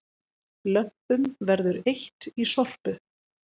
Lömpum verður eytt í Sorpu